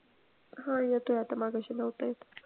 हा येतोय आता मघाशी नव्हता येत.